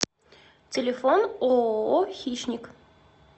телефон ооо хищникъ